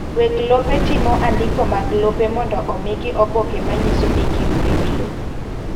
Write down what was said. Weg lope timo andiko mag lope mondo omigi oboke manyiso ni gin weg lo.